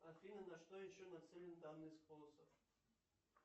афина на что еще нацелен данный способ